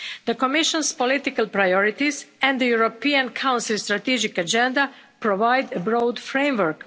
The Commission's political priorities and the European Council Strategic Agenda provide a broad framework.